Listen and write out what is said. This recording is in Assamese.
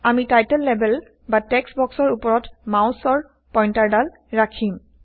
আমি টাইটল লেবেল বা টেক্সট বক্সৰ উপৰত মাউছৰ পইন্টাৰদাল ৰাখিম